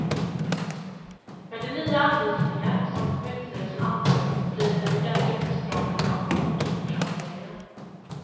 Med de nya anvisningar som kommunstyrelsen antagit, blir det en ordentlig uppstramning av kontokortshanteringen.